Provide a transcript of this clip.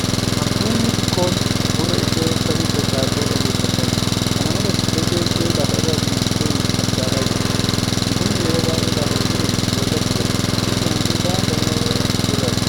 Antuunni xiqqoon gurra ishee samiitti ol dhaabdee dhaggeeffachaa jirti. Kana malees, eegee ishee lafa irra diriirsitee as ilaalaa jirti. Antuunni yeroo baay'ee lafa uruun boollatti galti. Iji antuutaa garmalee gurraacha.